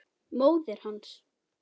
Móðir hans!